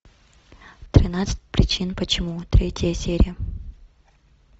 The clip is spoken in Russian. тринадцать причин почему третья серия